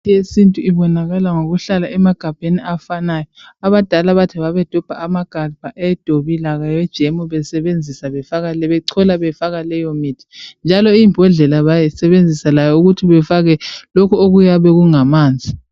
Imithi yesintu ibonakala ngokuhlala emagabheni afanayo. Abadala bathi babedobha amagabha awedobi lawe jemu bechola befaka leyomithi. Njalo imbodlela bayisebenzisa befaka lokhu okuyabe kungamanzi.